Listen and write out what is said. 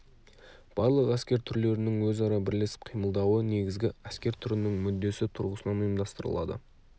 барлық әскер түрлерінің өзара бірлесіп қимылдауы негізгі әскер түрінің мүддесі тұрғысынан ұйымдастырылады